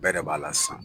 Bɛɛ de b'a la sisan